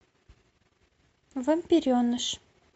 вампиреныш